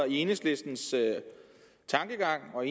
enhedslistens tankegang og